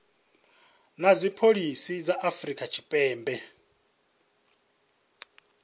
na dzipholisi dza afrika tshipembe